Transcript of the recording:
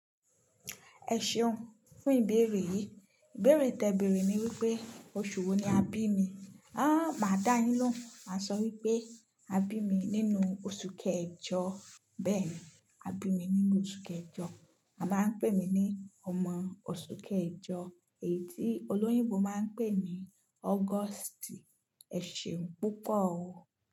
Ẹ ṣeun fún ìbéèrè yìí. Ìbéèrè tẹ bèrè ni wípé oṣù wo ni a bí mi. Aaa, maa dá yin lóhun máa sọ wípé a bí mi nínú oṣù kẹjọ, bẹ́ẹ̀ ni, a bí mi nínú oṣù kẹjọ. A máa ń pè mí ní ọmọ oṣù kẹjọ èyí tí olóyìnbo máa ń pè ní August. Ẹ ṣeun púpọ̀ o.